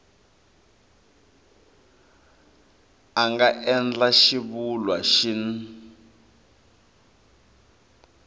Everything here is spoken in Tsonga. a nga endla xivulwa xin